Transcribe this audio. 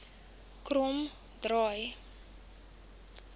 kromdraai